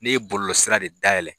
N'i ye bɔlɔsira de dayɛlɛ